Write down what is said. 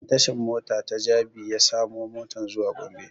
Ta tashan mota ta jabi ya samu motan zuwa gombe